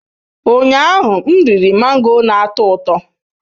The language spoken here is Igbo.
Ụnyaahụ, m riri mango na-atọ ụtọ.